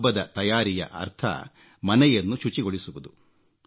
ಹಬ್ಬದ ತಯಾರಿಯ ಅರ್ಥ ಮನೆಯನ್ನು ಶುಚಿಗೊಳಿಸುವುದು